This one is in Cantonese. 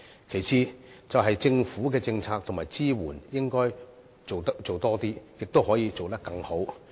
其次，政府的政策及支援應該做得更多，亦可以做得更好。